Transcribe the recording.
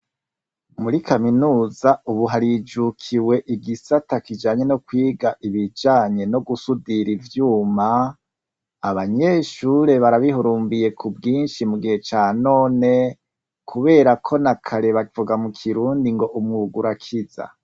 Muri kaminuza ubu harijukiwe igisata kijanye no kwiga ibijanye no gusudira ivyuma, abanyeshuri barabihurumbiye ku bwinshi mu gihe ca none, kubera ko na kare bavuga mu kirundi ngo umwuga urakiza.